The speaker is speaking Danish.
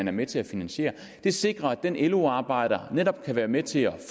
er med til at finansiere det sikrer at den lo arbejder netop kan være med til at